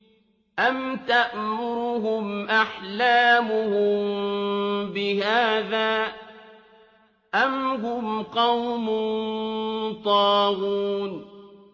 أَمْ تَأْمُرُهُمْ أَحْلَامُهُم بِهَٰذَا ۚ أَمْ هُمْ قَوْمٌ طَاغُونَ